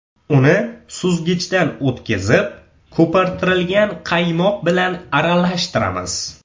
Uni suzgichdan o‘tkizib, ko‘pirtirilgan qaymoq bilan aralashtiramiz.